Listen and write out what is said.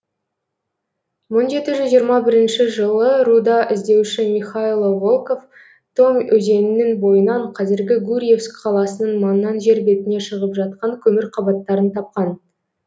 мың жеті жүз жиырма бірінші жылы руда іздеуші михайло волков томь өзенінің бойынан қазіргі гурьевск қаласының маңынан жер бетіне шығып жатқан көмір қабаттарын тапқан